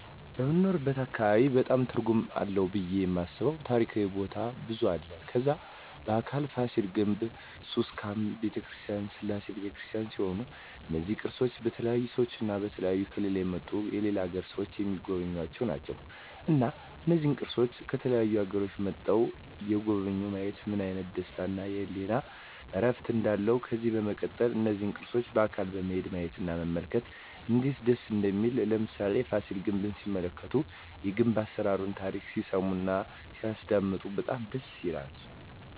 በምንኖርበት አካባቢ በጣም ትርጉም አለው ብየ የማስበው ታሪካዊ ቦታ ብዙ አለ ከዛ በአካል ፋሲል ግንብ ኩስካም በተክርስቲያን ስላሴ በተክርስቲያን ሲሆኑ እነዚ ቅርሶች በተለያዩ ሰዎች እና በተለያዩ ከሌላ የመጡ የሌላ አገር ሰዎች ሚጎበኙአቸው ናቸው እና እነዚህን ቅርሶች ከተለያዩ አገሮች መጥተዉ የጎበኙ ማየት ምን አይነት ደስታ እና የህሊና እርፍ እንዳለው ከዚህ በመቀጠል እነዚህን ቅርሶች በአካል በመሄድ ማየት እና መመልከት እነዴት ደስ እንደሚል ለምሳሌ ፋሲል ግንብ ሲመለከቱ የግንብ አሰራሩን ታሪኩን ሲሰሙ እና ሲያደመጡ በጣም ደስ ይላል